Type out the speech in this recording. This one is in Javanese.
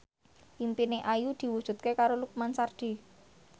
impine Ayu diwujudke karo Lukman Sardi